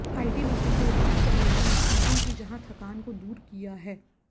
ITBP के उदार चेहरे ने मजदूरों की जहां थकान को दूर किया है